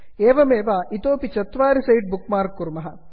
एवमेव इतोपि चत्वारि सैट् बुक् मार्क् कुर्मः